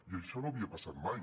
i això no havia passat mai